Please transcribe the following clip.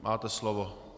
Máte slovo.